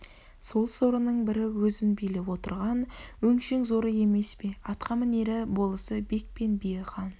сол сорының бірі өзін билеп отырған өңшең зоры емес пе атқамінері болысы бек пен биі хан